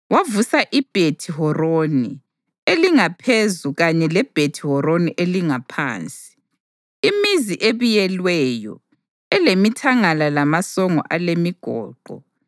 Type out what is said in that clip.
Wavusa iBhethi-Horoni elingaphezu kanye leBhethi-Horoni elingaphansi, imizi ebiyelweyo elemithangala lamasongo alemigoqo,